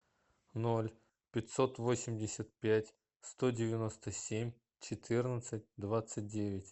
ноль пятьсот восемьдесят пять сто девяносто семь четырнадцать двадцать девять